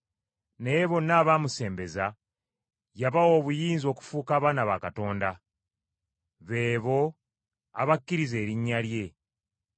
Naye bonna abaamusembeza, yabawa obuyinza okufuuka abaana ba Katonda; be bo abakkiriza erinnya lye.